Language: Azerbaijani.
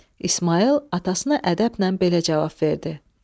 İsmayıl atasına ədəblə belə cavab verdi: